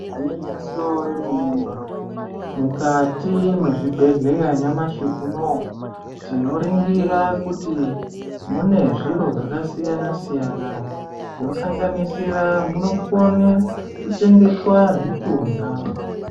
Igwinyiso remene mene mukati mwezvibhedhleya nyamashi unowu tinoringira kuti mune zviro zvakasiyana siyana zvinosanganisira munokone kuchengetwa zvitunha.